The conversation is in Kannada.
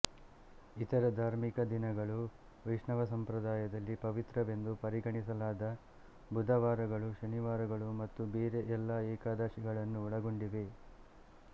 ಇತರ ಧಾರ್ಮಿಕ ದಿನಗಳು ವೈಷ್ಣವ ಸಂಪ್ರದಾಯದಲ್ಲಿ ಪವಿತ್ರವೆಂದು ಪರಿಗಣಿಸಲಾದ ಬುಧವಾರಗಳು ಶನಿವಾರಗಳು ಮತ್ತು ಬೇರೆ ಎಲ್ಲ ಏಕಾದಶಿಗಳನ್ನು ಒಳಗೊಂಡಿವೆ